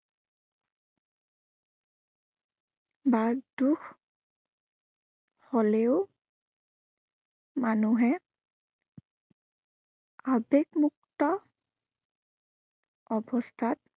বা দুখ হলেও মানুহে আবেগমুক্ত অৱস্থাত